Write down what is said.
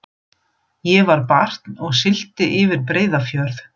Ég var barn og sigldi yfir Breiðafjörð.